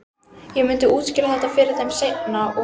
Ég myndi útskýra þetta fyrir þeim seinna- og